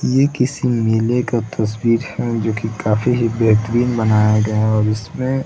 ये किसी मेले का तस्वीर है जो की काफी ही बेहतरीन बनाया गया और इसमें --